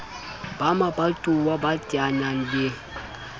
ba mabatowa ba teanang le